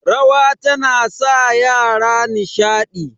rawa tana sa yara nishadi